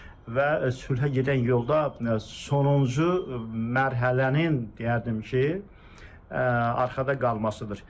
Və sülhə gedən yolda sonuncu mərhələnin, deyərdim ki, arxada qalmasıdır.